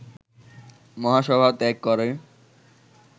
মহাসভা ত্যাগ করে